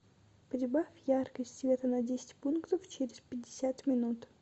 прибавь яркость света на десять пунктов через пятьдесят минут